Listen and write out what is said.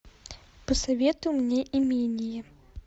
посоветуй мне имение